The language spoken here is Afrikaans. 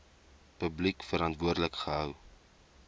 publiek verantwoordelik gehou